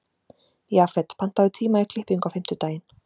Jafet, pantaðu tíma í klippingu á fimmtudaginn.